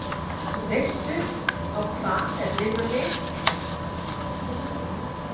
Veistu á hvað þær minna mig?